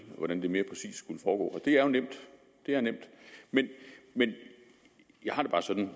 hvordan det mere præcist skulle foregå det er jo nemt det er nemt men jeg har det bare sådan